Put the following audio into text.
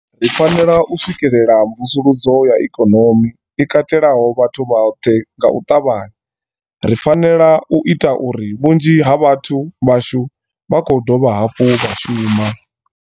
Ri fanela u swikela mvusuludzo ya ikonomi i katelaho vhathu vhoṱhe nga u ṱavhanya. Ri fanela u ita uri vhunzhi ha vhathu vhashu vha khou dovha hafhu vha shuma.